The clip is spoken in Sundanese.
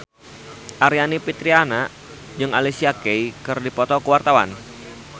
Aryani Fitriana jeung Alicia Keys keur dipoto ku wartawan